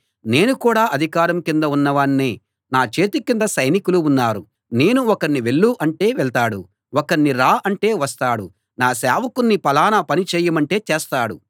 నేను కూడా అధికారం కింద ఉన్నవాణ్ణే నా చేతి కింద సైనికులు ఉన్నారు నేను ఒకణ్ణి వెళ్ళు అంటే వెళ్తాడు ఒకణ్ణి రా అంటే వస్తాడు నా సేవకుణ్ణి ఫలానా పని చేయమంటే చేస్తాడు